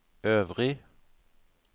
øvrig